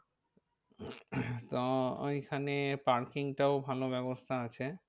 তো ওইখানে parking টাও ভালো ব্যবস্থা আছে।